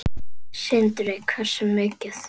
Sindri: Hversu mikið?